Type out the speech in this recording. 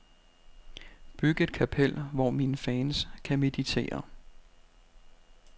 Byg et kapel, hvor mine fans kan meditere.